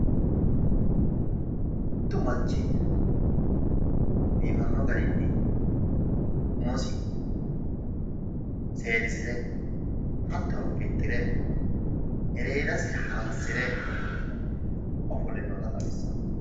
mittu manchi biiffanno garinni umosi seeddisire hattoni fixxire ereedasi haransire ofolle noota xawissanno.